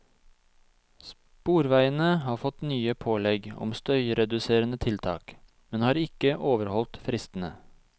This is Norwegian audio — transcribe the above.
Sporveiene har fått nye pålegg om støyreduserende tiltak, men har ikke overholdt fristene.